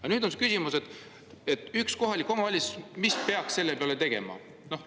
Aga nüüd on küsimus: mida peaks üks kohalik omavalitsus selle peale tegema?